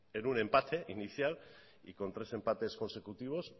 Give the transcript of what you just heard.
en un empate inicial y con tres empates consecutivos